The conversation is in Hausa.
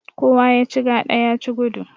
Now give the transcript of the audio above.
Kowa ya ci gada ya ci gudu.